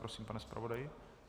Prosím, pane zpravodaji.